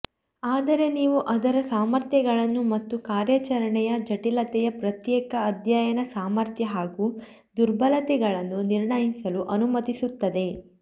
ಆದರೆ ನೀವು ಅದರ ಸಾಮರ್ಥ್ಯಗಳನ್ನು ಮತ್ತು ಕಾರ್ಯಾಚರಣೆಯ ಜಟಿಲತೆಯ ಪ್ರತ್ಯೇಕ ಅಧ್ಯಯನ ಸಾಮರ್ಥ್ಯ ಹಾಗೂ ದುರ್ಬಲತೆಗಳನ್ನು ನಿರ್ಣಯಿಸಲು ಅನುಮತಿಸುತ್ತದೆ